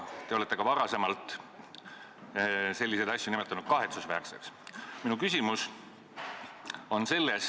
Te olete selliseid asju nimetanud kahetsusväärseks.